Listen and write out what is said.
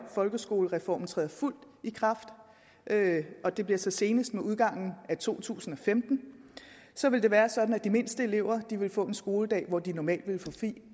folkeskolereformen træder fuldt i kraft og det bliver så senest med udgangen af to tusind og femten så vil det være sådan at de mindste elever vil få en skoledag hvor de normalt vil få fri